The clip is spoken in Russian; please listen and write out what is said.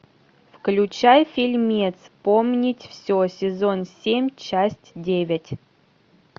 включай фильмец вспомнить все сезон семь часть девять